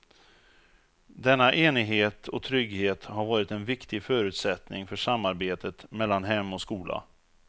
Denna enighet och trygghet har varit en viktig förutsättning för samarbetet mellan hem och skola.